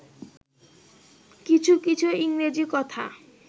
কিছু কিছু ইংরজী কথা